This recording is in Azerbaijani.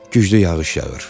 Güclü yağış yağır.